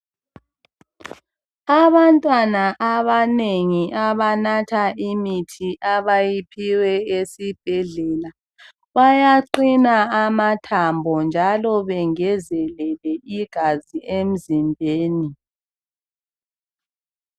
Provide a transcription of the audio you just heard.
Abantwana abanengi abanatha imithi abawaphiwe esibhedlela, bayaqina amathambo njalo bengezelele igazi emzimbeni.